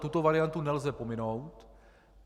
Tuto variantu nelze pominout.